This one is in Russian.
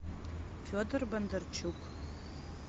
федор бондарчук